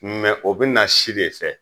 o be na si de fɛ.